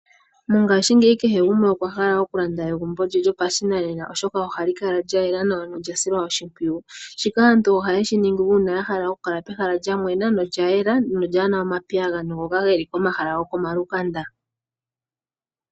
Mongashiingeyi kehe gumwe okwa hala oku landa egumbo lye, lyopashinanena oshoka ohali kala lya yela nawa nolya silwa oshipwiyu ,shika aantu ohaye shiningi uuna ahala oku kala pehala lya mwena, nolya yela nolyaana omapiyagano ngono geli komahala gokomalukanda.